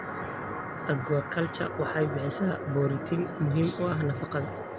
Aquaculture waxay bixisaa borotiin muhiim u ah nafaqada.